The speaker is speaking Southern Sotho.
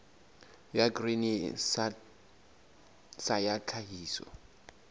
ya grain sa ya tlhahiso